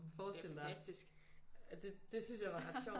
Forestil dig det syntes jeg var ret sjovt